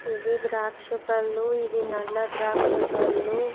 ఇవి ద్రాక్ష పళ్ళు. ఇవి నల్ల ద్రాక్ష పళ్ళు.